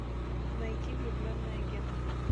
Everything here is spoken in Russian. найти влюбленный агент